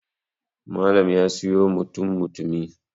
Malam ya siyo mutum mutumi